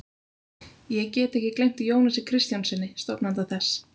Ég get ekki gleymt Jónasi Kristjánssyni, stofnanda þess.